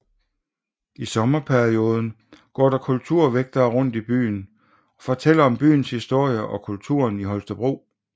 I sommerperioden går der kulturvægtere rundt i byen og fortæller om byens historie og kulturen i Holstebro